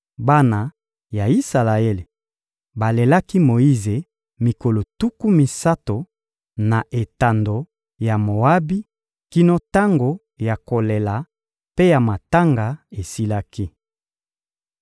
Bana ya Isalaele balelaki Moyize mikolo tuku misato, na etando ya Moabi kino tango ya kolela mpe ya matanga esilaki.